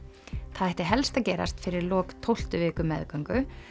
það ætti helst að gerast fyrir lok tólftu viku meðgöngu